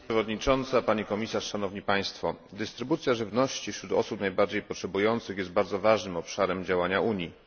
Pani przewodnicząca, pani komisarz! Dystrybucja żywności wśród osób najbardziej potrzebujących jest bardzo ważnym obszarem działania Unii.